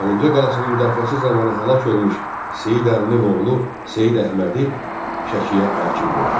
Əlincə qalasının müdafiəsi zamanı həlak olmuş Seyid Əlinin oğlu Seyid Əhmədi Şəkiyə hakim qoydu.